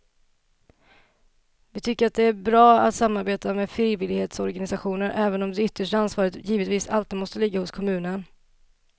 Vi tycker att det är bra att samarbeta med frivillighetsorganisationer även om det yttersta ansvaret givetvis som alltid måste ligga hos kommunen.